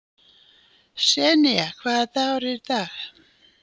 Senía, hvaða dagur er í dag?